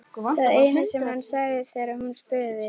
Það eina sem hann sagði þegar hún spurði.